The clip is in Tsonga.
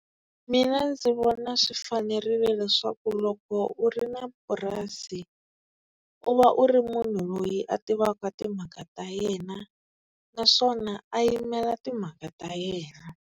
Mina ndzi vona swi fanerile leswaku loko u ri na purasi u va u ri munhu loyi a tivaka timhaka ta yena, naswona a yimela timhaka ta yena.